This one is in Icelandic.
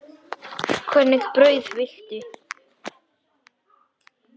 Hvernig brauð viltu?